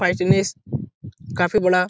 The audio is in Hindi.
काफी बड़ा --